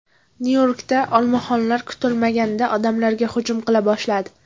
Nyu-Yorkda olmaxonlar kutilmaganda odamlarga hujum qila boshladi.